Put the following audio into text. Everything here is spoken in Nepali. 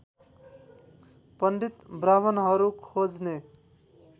पण्डित ब्राह्मणहरू खोज्ने